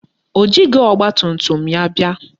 O jighị ọgbatumtum ya bịa